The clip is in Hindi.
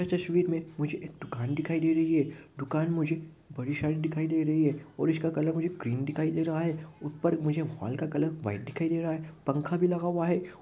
यह तस्वीर मे मुझे एक दुकान दिखाई दे रही है दूकान मुझे बड़ी सारी दिखाई दे रही है और इसका कलर मुझे क्रीम दिखाई दे रहा है ऊपर मुझे हॉल का कलर व्हाईट दिखाई दे रहा है पंखा भी लगा हुआ है।